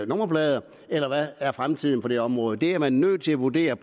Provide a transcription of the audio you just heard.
nummerplader eller hvad er fremtiden på det område det er man nødt til at vurdere